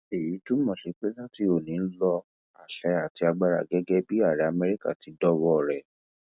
èyí túmọ sí pé láti ọni lo àṣẹ àti agbára gẹgẹ bíi ààrẹ amẹríkà ti dọwọ rẹ